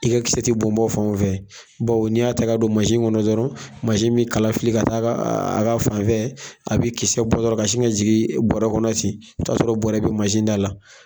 I ka kisɛ ti bɔn bɔn fanw fɛ, bawo n'i y'a ta ka don, kɔnɔ dɔrɔn, min kala fili ka taa a ka fan fɛ, a bi kisɛ bɔ dɔrɔn ka si ka jigin bɔrɔ kɔnɔ ten, i bi taa sɔrɔ bɔrɔ bi da la.